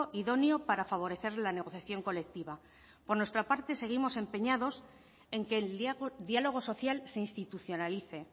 idóneo para favorecer la negociación colectiva por nuestra parte seguimos empeñados en que el diálogo social se institucionalice